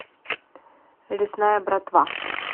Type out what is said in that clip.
лесная братва